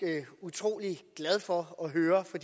utrolig glad for at høre for